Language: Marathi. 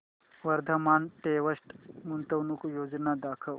वर्धमान टेक्स्ट गुंतवणूक योजना दाखव